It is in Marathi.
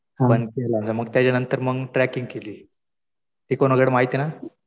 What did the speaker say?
पण केला. त्याच्यानंतर मग ट्रॅकिंग केली. माहितीये ना